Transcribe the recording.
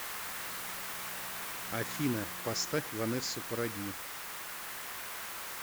афина поставь ванессу паради